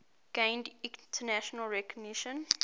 gained international recognition